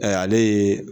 ale ye